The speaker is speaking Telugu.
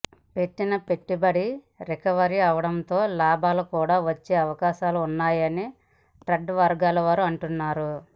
పెట్టిన పెట్టుబడి రికవరీ అవ్వడంతో లాభాలు కూడా వచ్చే అవకాశాలున్నాయని ట్రేడ్ వర్గాల వారు అంటున్నారు